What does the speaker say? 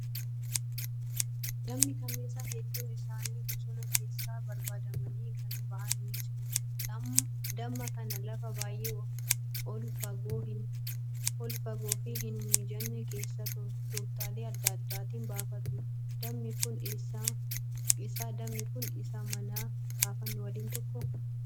Dammi kanniisaa hedduun isaanii bosona keessaa barbaadamanii kan bahan ni jiru. Damma kana lafa baay'ee ol fagoo fi hin mijanne keessaa tooftaalee adda addaatiin baafatu. Dammi kun isa manaa baafnu waliin tokkoo?